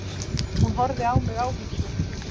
Hún horfði á mig áhyggjufull.